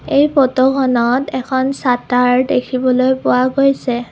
এই ফটোখনত এখন শ্বাটাৰ দেখিবলৈ পোৱা গৈছে।